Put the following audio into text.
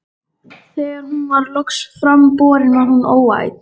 Þegar hún var loks fram borin var hún óæt.